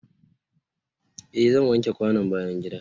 eh zan wanke kwanon bayan gida.